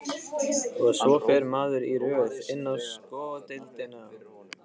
Og svo fer maður í röð inn á sko deildina.